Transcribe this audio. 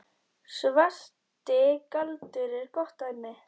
Svarti galdur er gott dæmi.